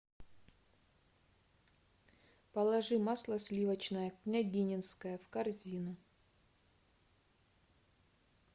положи масло сливочное княгининское в корзину